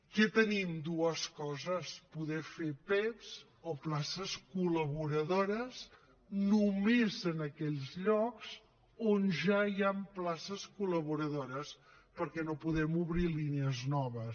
què tenim dues coses poder fer pev o places col·laboradores només en aquells llocs on ja hi han places col·laboradores perquè no podem obrir línies noves